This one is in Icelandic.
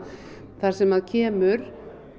þar sem að kemur